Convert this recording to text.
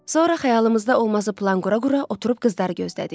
Sonra xəyalımızda olmazı plan qura-qura oturub qızları gözlədik.